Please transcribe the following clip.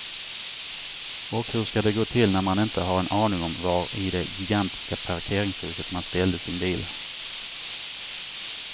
Och hur ska det gå till när man inte har en aning om var i det gigantiska parkeringshuset man ställde sin bil.